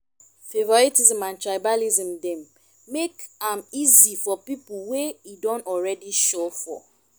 favouritism and tribalism dem make am easy for pipo wey e don already sure for